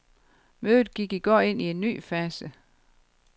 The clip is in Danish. Mødet gik i går ind i en ny fase.